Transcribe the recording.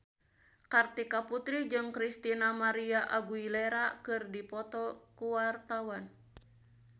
Kartika Putri jeung Christina María Aguilera keur dipoto ku wartawan